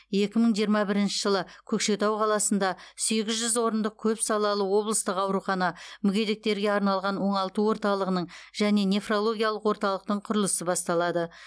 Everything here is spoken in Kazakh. екі мың жиырма бірінші жылы көкшетау қаласында сегіз жүз орындық көпсалалы облыстық аурухана мүгедектерге арналған оңалту орталығының және нефрологиялық орталықтың құрылысы басталады